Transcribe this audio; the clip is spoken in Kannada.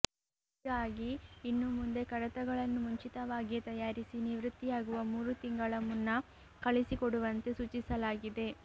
ಹೀಗಾಗಿ ಇನ್ನು ಮುಂದೆ ಕಡತಗಳನ್ನು ಮುಂಚಿತವಾಗಿಯೇ ತಯಾರಿಸಿ ನಿವೃತ್ತಿಯಾಗುವ ಮೂರು ತಿಂಗಳ ಮುನ್ನ ಕಳಿಸಿಕೊಡುವಂತೆ ಸೂಚಿಸಲಾಗಿದೆ